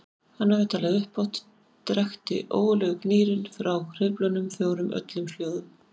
Hafi hann talað upphátt drekkti ógurlegur gnýrinn frá hreyflunum fjórum öllum hljóðum.